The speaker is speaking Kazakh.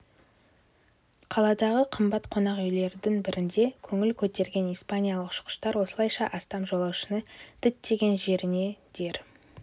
қаладағы қымбат қонақ үйлердің бірінде көңіл көтерген испаниялық ұшқыштар осылайша астам жолаушыны діттеген жеріне дер